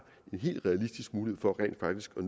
en helt realistisk mulighed for rent faktisk at